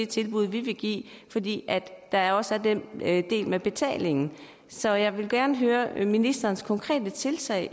tilbud de vil give fordi der også er den del med betalingen så jeg vil gerne høre om ministerens konkrete tiltag